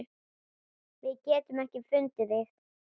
Við getum ekki fundið þig.